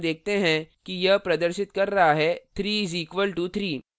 यहाँ हम देखते हैं कि यह प्रदर्शित कर रहा है 3 is equal to 3